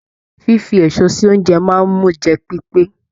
Fífi èso sí ounjẹ máa n mú jẹ pipe.